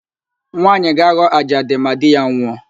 Nwaanyị ga-aghọ ajadi ma di ya nwụọ